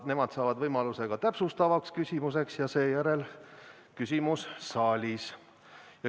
Nemad saavad võimaluse ka täpsustavaks küsimuseks ja seejärel küsimus saalist.